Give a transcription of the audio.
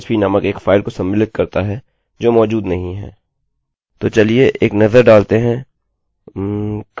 यह idontexist dot php नामक एक फाइल को सम्मिलित करता है जो मौजूद नहीं है